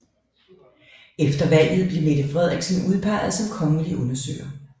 Efter valget blev Mette Frederiksen udpeget som kongelig undersøger